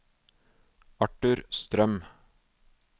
Arthur Strøm